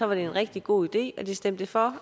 var en rigtig god idé og de stemte for